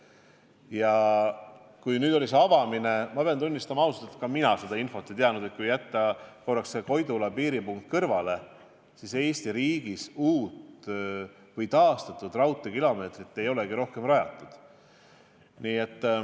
Ja kui nüüd oli see avamine, siis ma sain teada – pean ausalt tunnistama, et mina seda ei teadnud –, et kui jätta kõrvale Koidula piiripunkt, siis Eesti riigis uut või taastatud raudteed ei olegi rohkem rajatud.